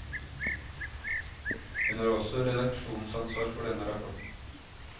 Hun har også redaksjonsansvar for denne rapporten.